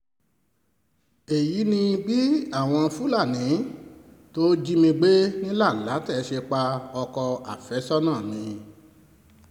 èyí ni bí àwọn fúlàní tó jí mi gbé ní lánlàtẹ̀ ṣe pa ọkọ̀ àfẹ́sọ́nà mi